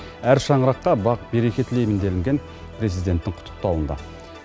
әр шаңыраққа бақ береке тілеймін делінген президенттің құттықтауында